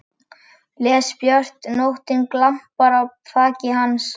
Les björt nóttin glampar á þaki hans.